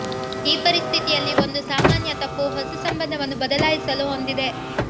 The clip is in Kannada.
ಈ ಪರಿಸ್ಥಿತಿಯಲ್ಲಿ ಒಂದು ಸಾಮಾನ್ಯ ತಪ್ಪು ಹೊಸ ಸಂಬಂಧವನ್ನು ಬದಲಾಯಿಸಲು ಹೊಂದಿದೆ